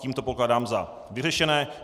Tím to pokládám za vyřešené.